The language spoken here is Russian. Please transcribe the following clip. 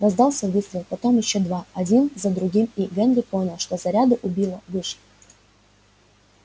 раздался выстрел потом ещё два один за другим и генри понял что заряды у билла вышли